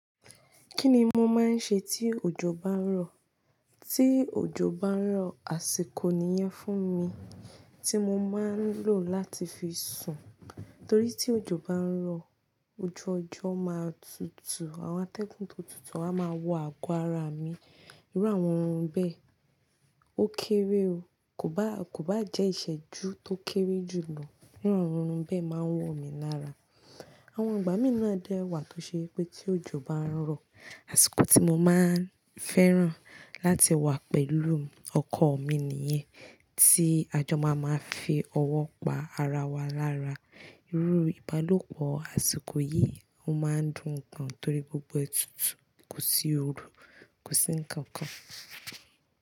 Kíni mo máa ń ṣe tí òjò bá ń rọ̀? Tí òjò bá ń rọ̀, àsìkò nìyẹn fún mi tí mo máa ń lò láti fi sùn. Torí tí òjò bá ń rọ̀, ojú ọjọ́ máa tutù, àwọn atẹ́gùn tó tutù a máa wọ àgọ́ ara mi. Irú àwọn oorun bẹ́ẹ̀ ó kéré o, kò bá jẹ́ ìsẹ́jú tó kéré jùlọ, irú àwọn oorun bẹ́ẹ̀ máa n wọ̀ mi lára. Àwọn ìgbà mì na dẹ́ wà tó ṣe pé tí òjò bá ń rọ̀, àsìkò tí mo máa ń fẹ́ràn láti wà pẹ̀lú ọkọ̀ mi nìyẹn tí àjọ máa máa fi ọwọ́ pa ara wa lára. Irú ìbálòpọ̀ àsìkò yìí o máa ń dùn gan-an torí gbogbo ẹ tutù kò sí òru, kò sí ǹkankan.